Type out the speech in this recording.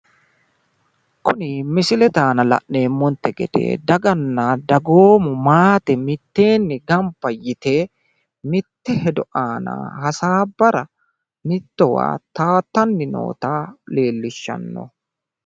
kuni misilete aana la'neemmonte gede daganna dagoomu maate mitteenni gamba yite mitte hedo aana hasaabbara mittowa taattanni noota leellishshanno.